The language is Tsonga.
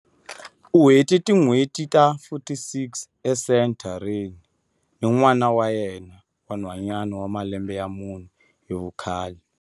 U hete tin'hweti ta 46 esenthareni ni n'wana wa yena wa nhwanyana wa malembe ya mune hi vukhale.